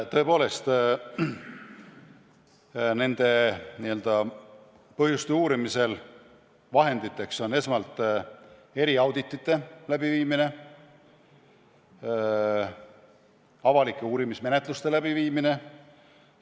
Tõepoolest, põhjuste uurimisel on vahenditeks eriauditite ja avalike uurimismenetluste läbiviimine.